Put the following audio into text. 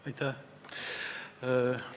Aitäh!